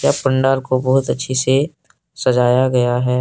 पंडाल को बहुत अच्छी से सजाया गया है।